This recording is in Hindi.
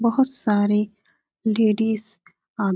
बहोत सारे लेडीज आ --